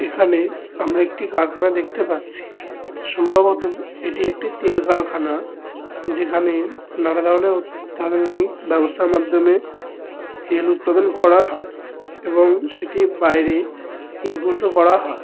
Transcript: এখানে আমরা একটি কারখানা দেখতে পাচ্ছি। সম্ভবত এটি একটি তেল কারখানা। যেখানে নানাধরণের অত্যাধুনিক ব্যবস্থার মাধ্যমে তেল উৎপাদন করা হয় এবং সেটি বাইরে ইম্পোর্ট -ও করা হয়।